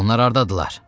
Onlar hardadırlar?